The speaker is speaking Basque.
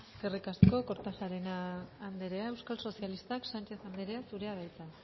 eskerrik asko kortajarena andrea euskal sozialistak sánchez andrea zurea da hitza